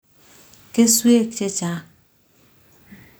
kesweek che chang'